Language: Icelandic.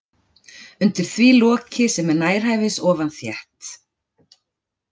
Undir því loki sem er nærhæfis ofan þétt